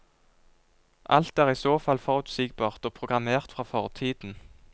Alt er i så fall forutsigbart og programmert fra fortiden.